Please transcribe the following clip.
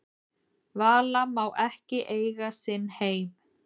Vala má ekki eiga sinn heim